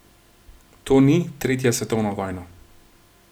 To ni tretja svetovna vojna.